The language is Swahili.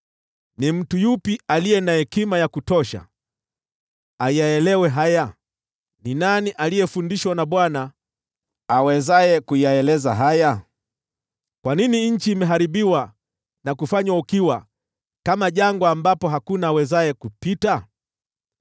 Ni mtu yupi aliye na hekima ya kutosha ayaelewe haya? Ni nani aliyefundishwa na Bwana awezaye kuyaeleza haya? Kwa nini nchi imeharibiwa na kufanywa ukiwa kama jangwa ambapo hakuna awezaye kupita?